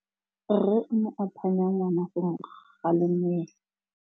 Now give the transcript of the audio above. Rre o ne a phanya ngwana go mo galemela.